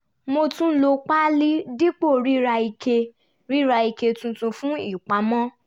mo tún lo páálí dípò rira ike rira ike tuntun fún ìpamọ́